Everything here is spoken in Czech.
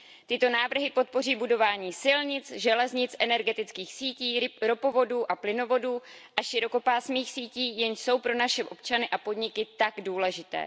Tyto návrhy podpoří budování silnic, železnic, energetických sítí, ropovodů a plynovodů a širokopásmých sítí, jenž jsou pro naše občany a podniky tak důležité.